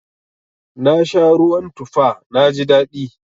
Na sha ruwan tufa na ji daɗi.